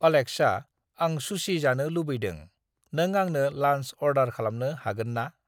Alexa आं sushi जानो लुबैदों। नों आंनो लान्च अर्दार खालामनो हागोन ना?